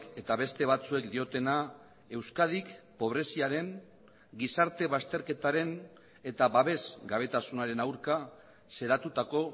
eta beste batzuek diotena euskadik pobreziaren gizarte bazterketaren eta babesgabetasunaren aurka xedatutako